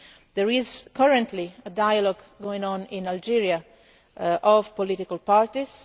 There is currently a dialogue going on in Algeria between political parties.